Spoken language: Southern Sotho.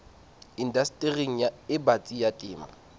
indastering e batsi ya temo